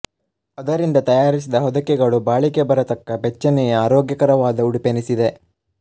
ಅದರಿಂದ ತಯಾರಿಸಿದ ಹೊದಿಕೆಗಳು ಬಾಳಿಕೆ ಬರತಕ್ಕ ಬೆಚ್ಚನೆಯ ಆರೋಗ್ಯಕರವಾದ ಉಡುಪೆನಿಸಿವೆ